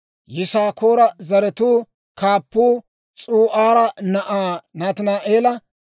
Yisaakoora zaratuu kaappuu S'u'aara na'aa Nataani'eela;